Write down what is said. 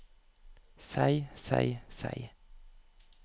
seg seg seg